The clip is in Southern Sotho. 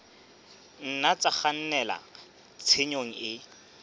nna tsa kgannela tshenyong e